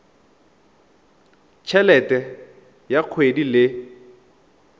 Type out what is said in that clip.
t helete ya kgwedi le